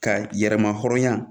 Ka yɛrɛma hɔrɔnya